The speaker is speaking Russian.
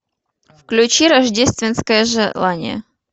включи рождественское желание